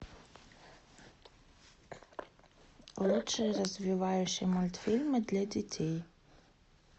лучшие развивающие мультфильмы для детей